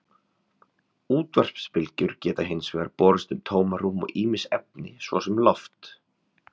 Útvarpsbylgjur geta hins vegar borist um tómarúm og ýmis efni, svo sem loft.